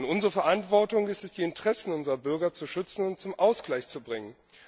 Unsere Verantwortung ist es, die Interessen unserer Bürger zu schützen und zum Ausgleich zu bringen.